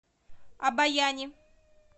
обояни